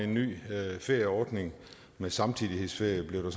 en ny ferieordning med samtidighedsferie blev det